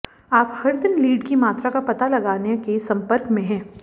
आप हर दिन लीड की मात्रा का पता लगाने के संपर्क में हैं